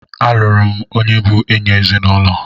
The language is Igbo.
A lụrụ onye bụ enyị ezinụlọ.